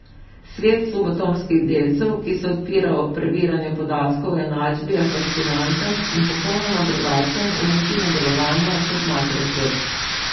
Svet subatomskih delcev, ki se odpira ob prebiranju podatkov o enačbi je fascinanten in popolnoma drugačen v načinu delovanja kot makrosvet.